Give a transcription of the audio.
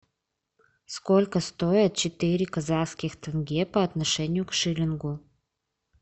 сколько стоит четыре казахских тенге по отношению к шиллингу